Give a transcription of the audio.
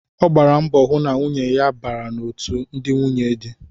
Ọ gbara mbọ hụ na nwunye ya bara otú ndị nwunye dị